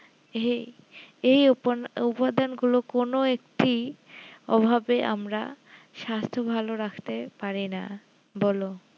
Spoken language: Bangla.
এই এই উপা উপাদান গুলো কোনো একটি অভাবে আমরা স্বাস্থ ভালো রাখতে পারি না বলো